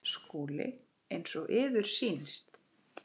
SKÚLI: Eins og yður sýnist.